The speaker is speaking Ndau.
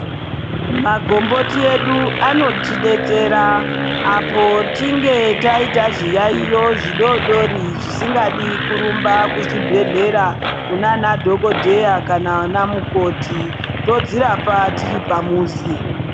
Magomboti edu anotidetsera, apo tinge taita zviyaiyo zvidodori ,zvisingadi kurumba kuzvibhedhlera ,kuna anadhokodheya vanamukoti, todzirapa tiri pamuzi.